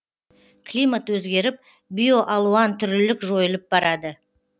климат өзгеріп биоалуантүрлілік жойылып барады